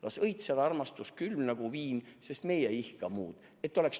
/ Las elada armastus, külm kui viin, / sest meie ei ihka muud!